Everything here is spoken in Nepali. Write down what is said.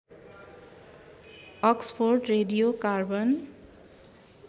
Oxford radio carbon